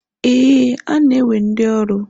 Ee, ha na-ewe ndi ọrụ.